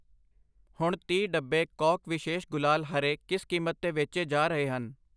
ਹੁਣ ਤੀਹ, ਡੱਬੇ ਕੌਕ ਵਿਸ਼ੇਸ਼ ਗੁਲਾਲ ਹਰੇ ਕਿਸ ਕੀਮਤ 'ਤੇ ਵੇਚੇ ਜਾ ਰਹੇ ਹਨ ?